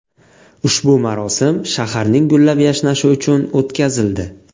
Ushbu marosim shaharning gullab-yashnashi uchun o‘tkazildi.